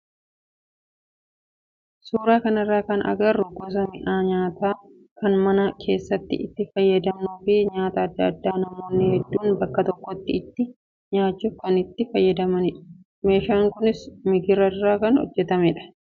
Suuraa kanarraa kan agarru gosa mi'a nyaataa kan mana keessatti itti fayyadamnuu fi nyaata adda addaa namoonni hedduun bakka tokkotti itti nyaachuuf kan itti fayyadamnudha. Meeshaan kunis migira irraa kan hojjatamudha.